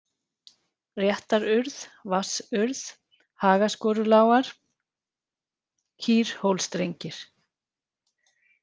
Réttarurð, Vatnsurð, Hagaskorulágar, Kýrhólstrengir